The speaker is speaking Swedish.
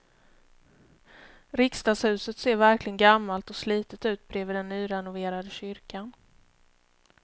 Riksdagshuset ser verkligen gammalt och slitet ut bredvid den nyrenoverade kyrkan.